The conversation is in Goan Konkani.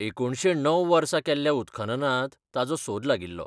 एकुणशे णव वर्सा केल्ल्या उत्खननांत ताचो सोद लागिल्लो.